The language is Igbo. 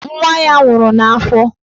Nwa ya nwụrụ n'afọ.